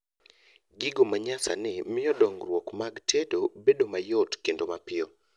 gigo manyasani mio dongruok mag tedo bedo mayot kendo mapiyo